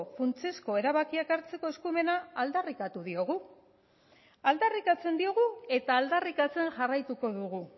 funtsezko erabakiak hartzeko eskumena aldarrikatu diogu aldarrikatzen diogu eta aldarrikatzen jarraituko dugu